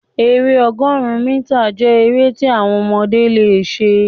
èrè ọgọrun mítà jẹ èrè ti àwọn ọmọdé lẹ ṣe.